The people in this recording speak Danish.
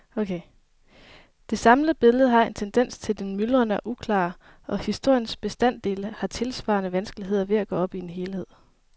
Det samlede billede har en tendens til det myldrende og uklare, og historiens bestanddele har tilsvarende vanskeligheder ved at gå op i en helhed.